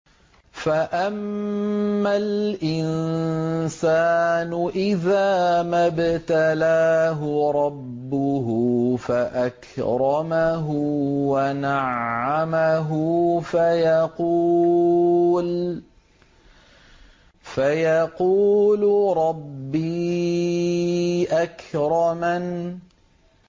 فَأَمَّا الْإِنسَانُ إِذَا مَا ابْتَلَاهُ رَبُّهُ فَأَكْرَمَهُ وَنَعَّمَهُ فَيَقُولُ رَبِّي أَكْرَمَنِ